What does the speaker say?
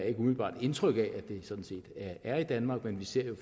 ikke umiddelbart indtryk af at det sådan set er i danmark men vi ser jo